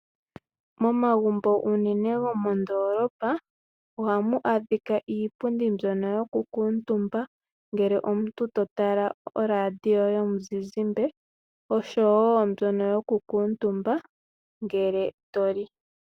Momagumbo unene gomoondolopa ohamu adhikwa iipundi mbyono yokukuutumba ngele omuntu totala oradio yomuzizimba oshowoo mbyono yokukuutumbwa ngele to li.